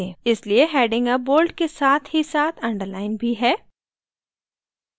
इलिए heading अब bold के साथ ही साथ underlined भी है